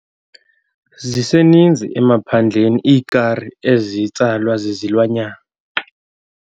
Ziseninzi emaphandleni iikari ezitsalwa zizilwanyana.